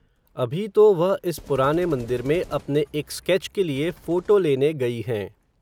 अभी तो वह इस पुराने मंदिर में, अपने एक स्कैच के लिये, फ़ोटो लेने गई हैं